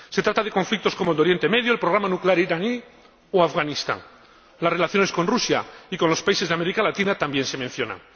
se trata de conflictos como el de Oriente Medio, el programa nuclear iraní o Afganistán las relaciones con Rusia y con los países de América Latina también se mencionan.